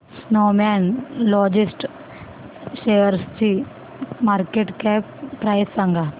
Snowman logistics शेअरची market cap price सांगा